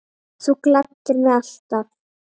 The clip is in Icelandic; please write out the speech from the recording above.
Þú gladdir mig alltaf.